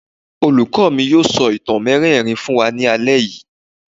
Olùkọ́ mi yóò sọ ìtàn mériìírí fún wa ní alẹ́ yìí.